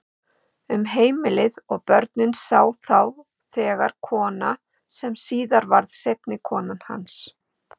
Um heimilið og börnin sá þá þegar kona sem síðar varð seinni kona hans.